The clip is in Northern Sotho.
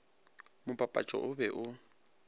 mo papatšong o be o